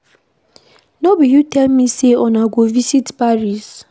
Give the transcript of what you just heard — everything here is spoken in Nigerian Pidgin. No be you tell me say una go visit Paris